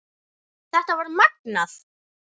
Þetta var magnað.